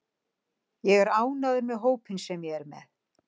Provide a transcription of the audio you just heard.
Ég er ánægður með hópinn sem ég er með.